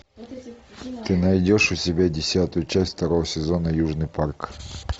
ты найдешь у себя десятую часть второго сезона южный парк